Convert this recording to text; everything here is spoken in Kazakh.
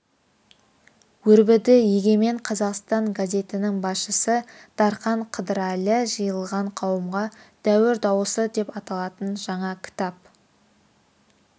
өрбіді егемен қазақстан газетінің басшысы дархан қыдырәлі жиылған қауымға дәуір дауысы деп аталатын жаңа кітап